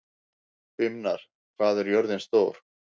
Brynmar, hvað er jörðin stór?